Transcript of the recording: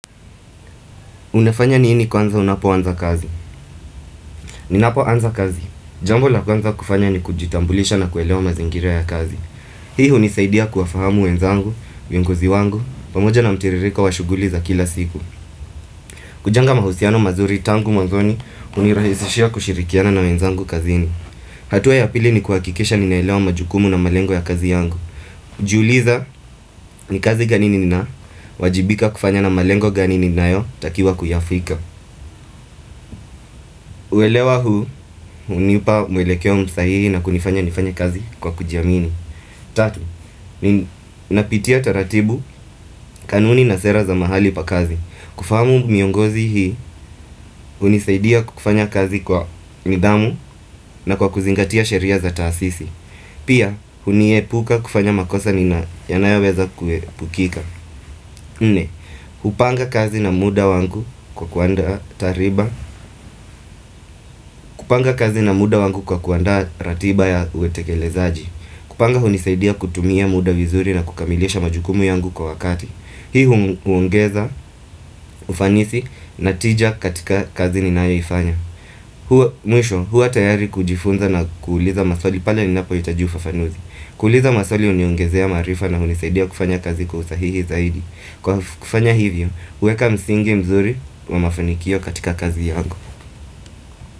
Unafanya nini kwanza unapoanza kazi. Ninapoanza kazi. Jambo la kwanza kufanya ni kujitambulisha na kuelewa mazingira ya kazi. Hii hunisaidia kuwafahamu wenzangu, viongozi wangu, pamoja na mtiririko wa shughuli za kila siku. Kujenga mahusiano mazuri tangu mwazoni hunirahisishia kushirikiana na wenzangu kazini. Hatua ya pili ni kuhakikisha ninaelewa majukumu na malengo ya kazi yangu. Jiuliza ni kazi gani nina wajibika kufanya na malengo gani ninayotakiwa kuyafika. Kuelewa huu, hunipa mwelekeo msahihi na kunifanya nifanye kazi kwa kujiamini Tatu, napitia taratibu kanuni na sera za mahali pa kazi kufahamu miongozi hii, hunisaidia kufanya kazi kwa nidhamu na kwa kuzingatia sheria za taasisi Pia, huniepuka kufanya makosa nina yanayoweza kuepukika nne, hupanga kazi na muda wangu kwa kuanda ratiba kupanga kazi na muda wangu kwa kuanda ratiba ya utekelezaji kupanga hunisaidia kutumia muda vizuri na kukamilisha majukumu yangu kwa wakati Hii huongeza ufanisi na tija katika kazi ninayoifanya Mwisho, huwa tayari kujifunza na kuuliza maswali pale ninapohitaji ufafanuzi kuuliza maswali huniongezea maarifa na hunisaidia kufanya kazi kwa usahihi zaidi Kwa kufanya hivyo, huweka msingi mzuri wa mafanikio katika kazi yangu.